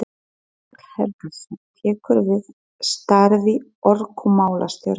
Þorkell Helgason tekur við starfi orkumálastjóra.